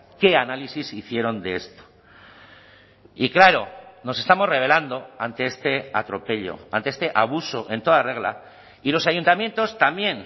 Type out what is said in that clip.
qué análisis hicieron de esto y claro nos estamos rebelando ante este atropello ante este abuso en toda regla y los ayuntamientos también